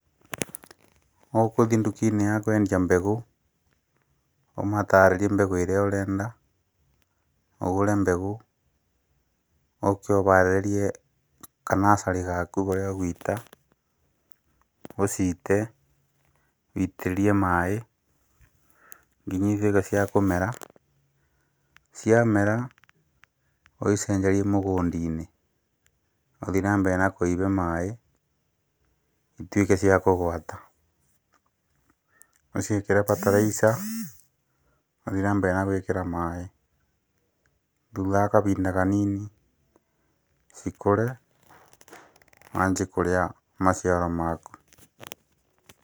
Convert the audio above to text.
Ũkũthi nduka-inĩ ya kwendia mbegũ, ũmatarĩrie mbegũ ĩrĩa ũrenda, ũgũre mbegũ, ũke ũbarĩrie kanacarĩ gaku karĩa ũguita, ũciite, ũitĩrĩrie maĩĩ, nginya ituĩke cia kũmera, ciamera ũcicenjerie mũgũndi-nĩ, ũthi na mbere na kũibe maĩ, ituĩke cia kũgwata, ũciĩkĩre bataraica, ũthi na mbere na gwĩkĩra maĩ, thutha wa kabinda kanini, cikũre wanji kũrĩa maciaro maku.